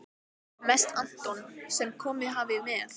Mest Anton sem komið hafði með